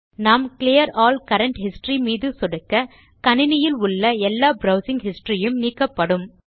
நாம் clear all current history மீது சொடுக்க கணினியில் உள்ள எல்லா ப்ரவ்சிங் ஹிஸ்டரி யும் நீக்கப்படும்